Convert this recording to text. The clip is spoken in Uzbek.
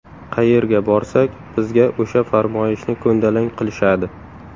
Qayerga borsak, bizga o‘sha farmoyishni ko‘ndalang qilishadi.